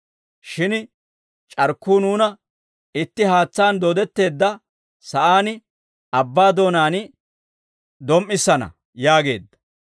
shin c'arkkuu nuuna itti haatsaan dooddetteedda sa'aan abbaa doonaan dom"issana» yaageedda.